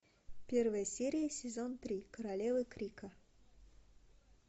первая серия сезон три королева крика